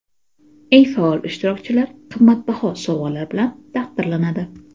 Eng faol ishtirokchilar qimmatbaho sovg‘alar bilan taqdirlanadi.